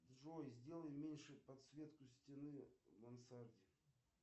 джой сделай меньше подсветку стены в мансарде